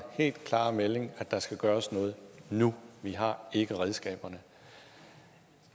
helt klare melding at der skal gøres noget nu vi har ikke redskaberne